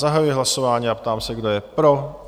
Zahajuji hlasování a ptám se, kdo je pro?